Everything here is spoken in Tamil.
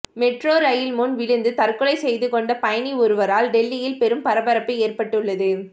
மெட்ரோ ரயில் முன் விழுந்து தற்கொலை செய்து கொண்ட பயணி ஒருவரால் டெல்லியில் பெரும் பரபரப்பு ஏற்பட்டுள்ளது